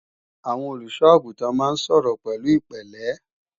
Àwọn olùṣọ́-àgùntàn máa ń sọ̀rọ̀ pẹ̀lú ìpẹ̀lẹ́